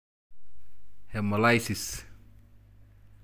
Hemolysis?